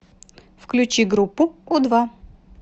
включи группу у два